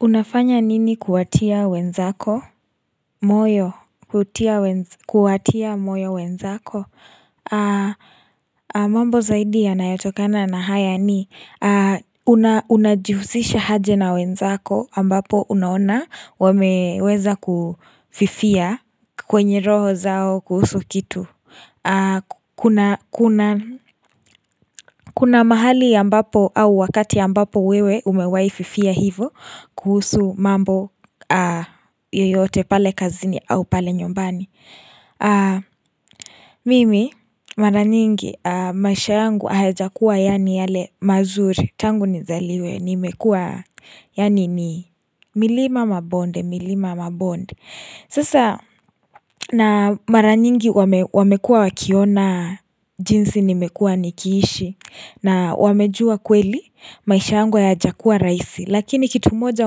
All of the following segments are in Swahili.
Unafanya nini kuwatia wenzako moyo? Kuwatia wenzako? Mambo zaidi yanayotokana na haya ni unajihusisha aje na wenzako ambapo unaona wameweza kufifia kwenye roho zao kuhusu kitu. Kuna mahali ambapo au wakati ambapo wewe umewahi fifia hivo kuhusu mambo yeyote pale kazini au pale nyumbani Mimi mara nyingi maisha yangu hajakuwa yaani yale mazuri Tangu nizaliwe nimekua yaani ni milima mabonde milima mabonde Sasa na mara nyingi wamekua wakiona jinsi nimekua nikiishi na wamejua kweli maisha yangu hayajakua rahisi lakini kitu moja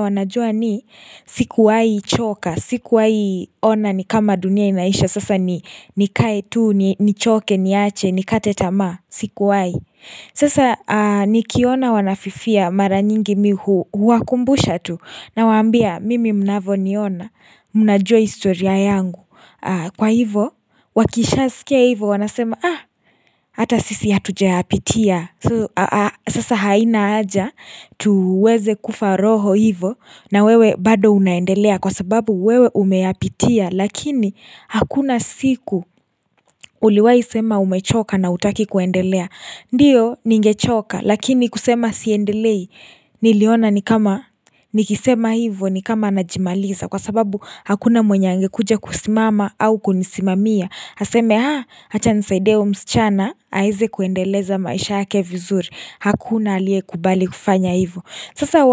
wanajua ni sikuwahi choka sikuwahi ona ni kama dunia inaisha sasa nikae tu nichoke niache nikate tamaa sikuwahi Sasa nikiona wanafifia mara nyingi mimi huwakumbusha tu nawaambia mimi mnavoniona mnajua historia yangu. Kwa hivo wakishasikia hivo wanasema ah hata sisi hatujayapitia. Sasa haina haja tuweze kufa roho hivo na wewe bado unaendelea kwa sababu wewe umeyapitia lakini hakuna siku uliwahi sema umechoka na hutaki kuendelea. Ndiyo ningechoka lakini kusema siendelei niliona ni kama nikisema hivo ni kama najimaliza kwa sababu hakuna mwenye angekuja kusimama au kunisimamia aseme haa acha nisaidie huyu msichana aeze kuendeleza maisha yake vizuri hakuna aliyekubali kufanya hivo Sasa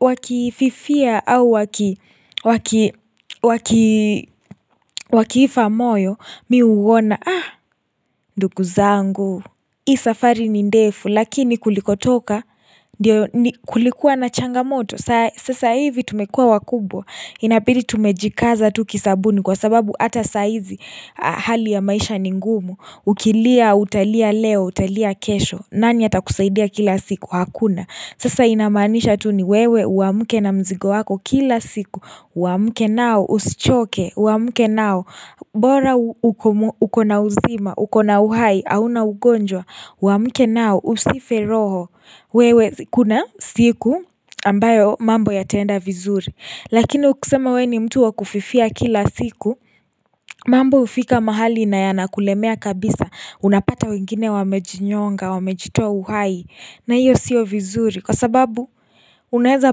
wakififia au wakifa moyo, mimi huona, ah, ndugu zangu, hii safari ni ndefu, lakini kulikotoka, kulikuwa na changamoto, sasa hivi tumekua wakubwa, inabidi tumejikaza tu kisabuni kwa sababu hata saa hizi hali ya maisha ni ngumu, ukilia, utalia leo, utalia kesho, nani atakusaidia kila siku hakuna Sasa inamaanisha tu ni wewe uamke na mzigo wako kila siku, uamke nao usichoke, uamke nao bora uko na uzima, uko na uhai, hauna ugonjwa, uamke nao usife roho, wewe kuna siku ambayo mambo yataenda vizuri. Lakini ukisema wewe ni mtu wa kufifia kila siku, mambo hufika mahali na yanakulemea kabisa, unapata wengine wamejinyonga, wamejitoa uhai, na hiyo sio vizuri. Kwa sababu, unaeza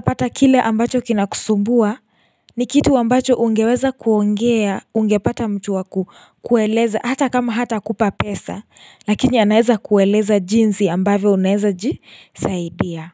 pata kile ambacho kinakusumbua, ni kitu ambacho ungeweza kuongea, ungepata mtu wa kueleza, hata kama hatakupa pesa, lakini yanaeza kueleza jinsi ambavyo unaeza jisaidia.